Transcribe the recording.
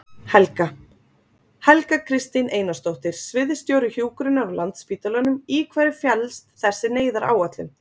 Helga: Helga Kristín Einarsdóttir, sviðsstjóri hjúkrunar á Landspítalanum, í hverju felst þessi neyðaráætlun?